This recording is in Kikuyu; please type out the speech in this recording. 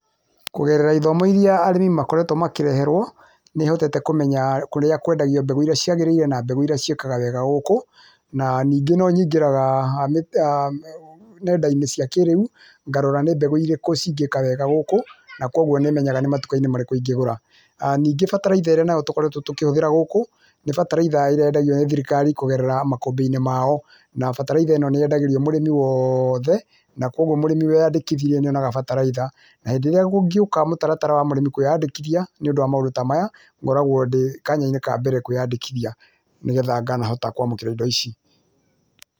Kũgerera ithomo irĩa arĩmi makoretwo makĩreherwo nĩhotete kũmenya kũrĩa kwendagua mbegũ irĩa ciagĩrĩire na mbegũ iria ciĩkaga wega gũkú na ningĩ nonyingíĩaga[uuh]nendainĩ cia kĩrĩũ ngarora nĩ mbegũ irĩkũ cingĩka wega gũkũ nakwoguo nĩmenyaga matukainĩ ndĩngĩgũra, nĩngĩ bataraitha ĩrĩa tũkoretwe tũkĩbũthĩra gũkũ nĩ bataraitha ya thirikari kũgerera makũmbĩinĩ mao na bataraitha ĩno nĩendagwa mũrĩmi wothe nakwoguo mũrĩmĩ weandikithirie nĩaheagwo bataraitha na hĩndĩ ĩrĩa kũngĩũka mũtaratara wa mũrĩmi kweandĩkithia nĩũndũ wa maũndũ ta maya ngoragwo ndĩ kanyainĩ kambere kwĩandĩkithia nĩgetha ngahota kwamũkĩra indo ici.